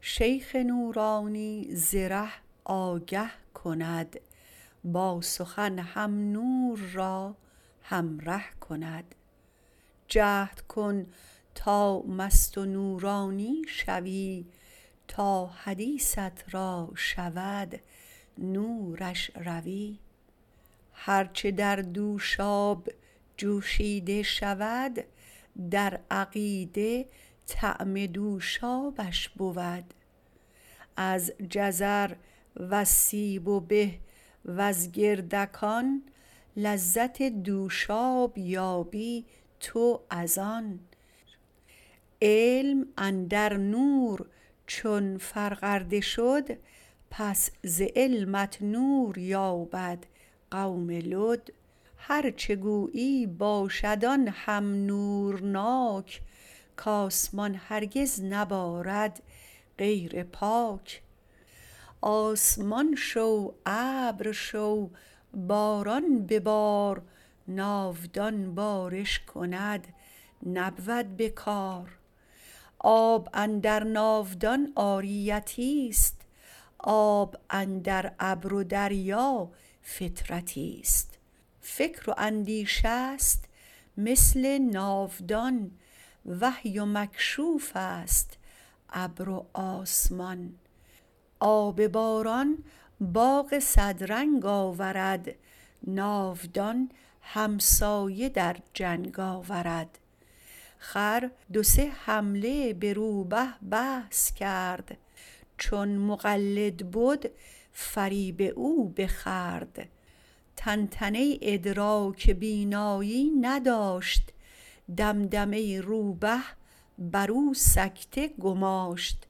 شیخ نورانی ز ره آگه کند با سخن هم نور را همره کند جهد کن تا مست و نورانی شوی تا حدیثت را شود نورش روی هر چه در دوشاب جوشیده شود در عقیده طعم دوشابش بود از جزر وز سیب و به وز گردگان لذت دوشاب یابی تو از آن علم اندر نور چون فرغرده شد پس ز علمت نور یابد قوم لد هر چه گویی باشد آن هم نورناک که آسمان هرگز نبارد غیر پاک آسمان شو ابر شو باران ببار ناودان بارش کند نبود به کار آب اندر ناودان عاریتیست آب اندر ابر و دریا فطرتیست فکر و اندیشه ست مثل ناودان وحی و مکشوفست ابر و آسمان آب باران باغ صد رنگ آورد ناودان همسایه در جنگ آورد خر دو سه حمله به روبه بحث کرد چون مقلد بد فریب او بخورد طنطنه ادراک بینایی نداشت دمدمه روبه برو سکته گماشت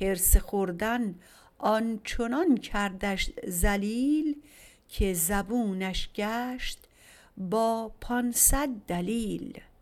حرص خوردن آنچنان کردش ذلیل که زبونش گشت با پانصد دلیل